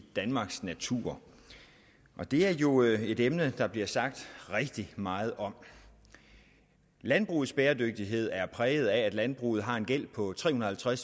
danmarks natur det er jo et emne der bliver sagt rigtig meget om landbrugets bæredygtighed er præget af at landbruget har en gæld på tre hundrede og